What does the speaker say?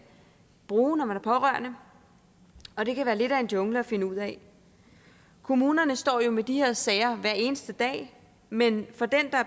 bruge når man er pårørende og det kan være lidt af en jungle at finde ud af kommunerne står jo med de her sager hver eneste dag men for den der